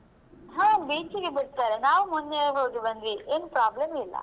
ಹಾ beach ಗೆ ಬಿಡ್ತಾರೆ ನಾವ್ ಮೊನ್ನೆ ಹೋದು ಬಂದ್ವಿ ಏನ್ problem ಇಲ್ಲಾ.